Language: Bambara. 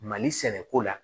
Mali sɛnɛko la